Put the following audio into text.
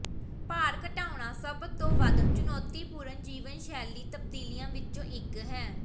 ਭਾਰ ਘਟਾਉਣਾ ਸਭ ਤੋਂ ਵੱਧ ਚੁਣੌਤੀਪੂਰਨ ਜੀਵਨ ਸ਼ੈਲੀ ਤਬਦੀਲੀਆਂ ਵਿੱਚੋਂ ਇੱਕ ਹੈ